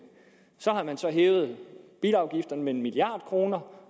så har man så hævet bilafgifterne med en milliard kr